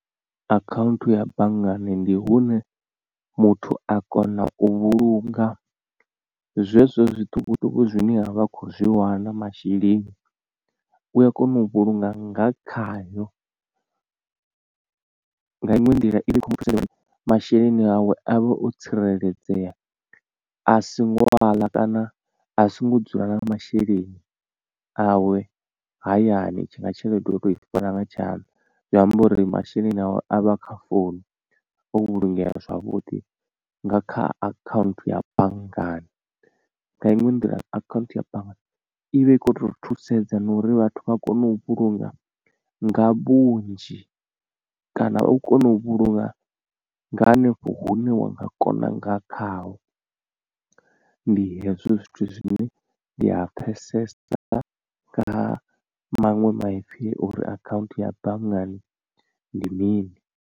Akhanthu ya banngani ndi hune muthu a kona u vhulunga zwezwo zwiṱukuṱuku zwine a vha a khou zwi wana masheleni u a kona u vhulunga nga khayo, nga iṅwe nḓila ivha i khou muthusa uri masheleni awe avhe o tsireledzea a si ngo aḽa kana a songo dzula na masheleni awe hayani tshi nga tshelede o to i fara nga tshanḓa. Zwi amba uri masheleni awe a vha a kha founu o vhulungeya zwavhuḓi nga kha akhaunthu ya banngani. Nga iṅwe nḓila akhaunthu ya banngani ivha i kho to thusedza na uri vhathu vha kone u vhulunga nga vhunzhi kana u kone u vhulunga nga hanefho hune wa nga kona nga khaho ndi hezwo zwithu zwine ndi a pfhesesa nga maṅwe maipfi uri akhanthu ya banngani ndi mini.